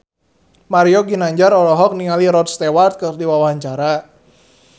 Mario Ginanjar olohok ningali Rod Stewart keur diwawancara